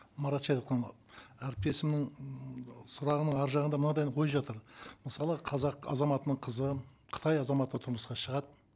марат шәдетханұлы әріптесімнің ммм сұрағының арғы жағында мынандай ой жатыр мысалы қазақ азаматының қызы қытай азаматына тұрмысқа шығады